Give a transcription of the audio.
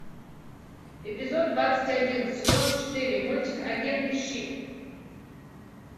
эпизод двадцать один сезон четыре мультик агенты щит